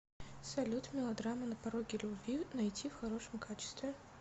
салют мелодрама на пороге любви найти в хорошем качестве